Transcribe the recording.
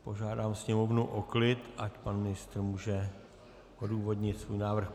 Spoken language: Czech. Požádám sněmovnu o klid, ať pan ministr může odůvodnit svůj návrh.